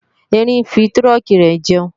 Erin ń fi tírùnkí rẹ̀ jẹun